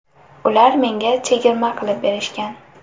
Ular menga chegirma qilib berishgan.